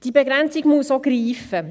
Die Begrenzung muss auch greifen.